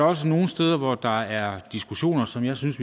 også nogle steder hvor der er diskussioner som jeg synes